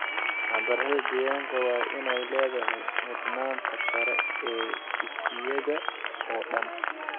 Waxbarashada deegaanka waa in ay leedahay mudnaanta sare ee dugsiyada oo dhan.